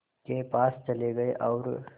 के पास चले गए और